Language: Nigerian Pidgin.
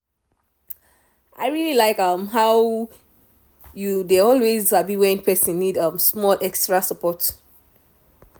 i really like um how um you always dey sabi when person need small um extra support.